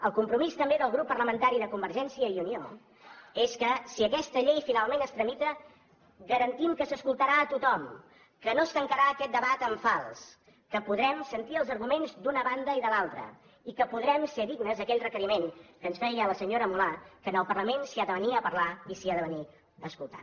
el compromís també del grup parlamentari de convergència i unió és que si aquesta llei finalment es tramita garantim que s’escoltarà tothom que no es tancarà aquest debat en fals que podrem sentir els arguments d’una banda i de l’altra i que podrem ser dignes d’aquell requeriment que ens feia la senyora mulà que en el parlament s’hi ha de venir a parlar i s’hi ha de venir a escoltar